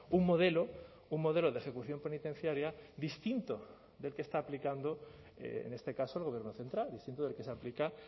un modelo un modelo de ejecución penitenciaria distinto del que está aplicando en este caso el gobierno central distinto del que se aplica